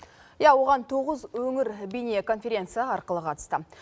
иә оған тоғыз өңір бейнеконференция арқылы қатысты